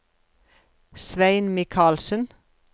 Svein Mikalsen